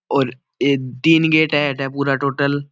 और ये तीन गेट है अटा पुरे टोटल ।